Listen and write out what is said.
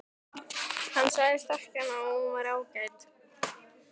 Hann sagðist þekkja hana og hún væri ágæt.